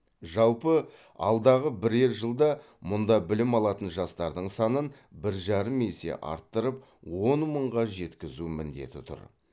жалпы алдағы бірер жылда мұнда білім алатын жастардың санын бір жарым есе арттырап он мыңға жеткізу міндеті тұр